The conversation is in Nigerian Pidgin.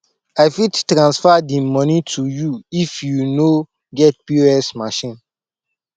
i fit transfer di moni to you if you no get pos machine